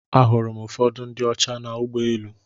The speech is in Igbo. Ahụrụ m ụfọdụ ndị ọcha na ụgbọ elu.